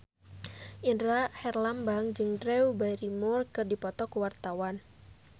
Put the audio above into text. Indra Herlambang jeung Drew Barrymore keur dipoto ku wartawan